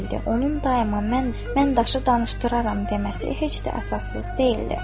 Onun daima "mən daşı danışdıraram" deməsi heç də əsassız deyildi.